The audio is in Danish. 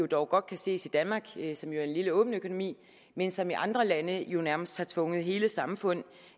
dog godt kan ses i danmark som er en lille åben økonomi men som i andre lande jo nærmest har tvunget hele samfund